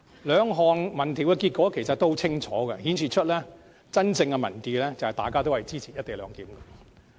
兩項民調的結果都很清楚，並顯示出真正的民意，便是大家都支持"一地兩檢"。